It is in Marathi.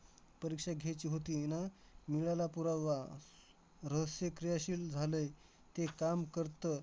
परीक्षा घ्यायची होती. मिळाला पुरावा. रहस्य क्रियाशील झालंय. ते काम करतं.